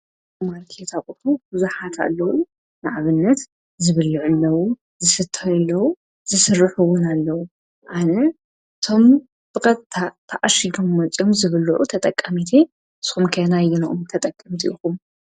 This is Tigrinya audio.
ማልኪታቕቱ ዙሓት ኣለዉ ንዕብነት ዝብልዕለዉ ዝስተየለዉ ዝሥርኅዉን ኣለዉ። ኣነ ቶም ብቐታ ተኣሽዶም መፂኦም ዝብልዑ ተጠቀሚቴ። ስኹምከና ይነኦም ተጠቅምቲ ኢኹ?